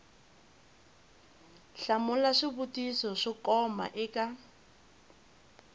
hlamula swivutiso swo koma eka